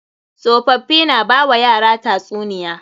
Tsofaffii na ba wa yara tatsuniya.